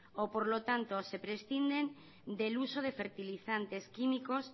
o por lo tanto se prescinden del uso de fertilizantes químicos